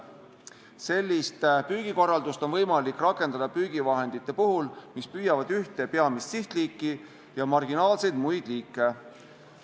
Sellist püügikorraldust on võimalik rakendada püügivahendite puhul, mis püüavad ühte peamist sihtliiki ja marginaalselt muid liike.